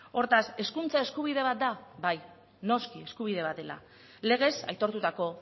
hortaz hezkuntza eskubide bat da bai noski eskubide bat dela legez aitortutako